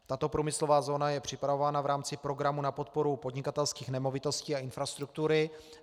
Tato průmyslová zóna je připravována v rámci programu na podporu podnikatelských nemovitostí a infrastruktury.